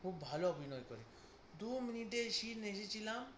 খুব ভালো অভিনয় করে। দু মিনিটের seen এসেছিলাম